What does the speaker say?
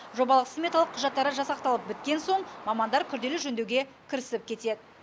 жобалық сметалық құжаттары жасақталып біткен соң мамандар күрделі жөндеуге кірісіп кетеді